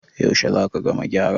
yaushe za ka gama gyaran?